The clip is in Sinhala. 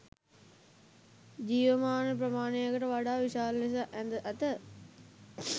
ජීවමාන ප්‍රමාණයට වඩා විශාල ලෙස ඇඳ ඇත.